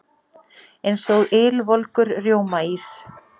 Eins og ylvolgur rjómaís.